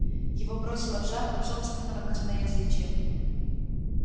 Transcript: его бросило в жар от собственного косноязычия